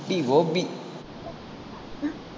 குட்டி கோபி